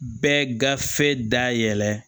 Bɛɛ gafe dayɛlɛ